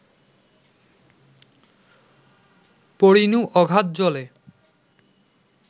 পড়িনু অগাধ জলে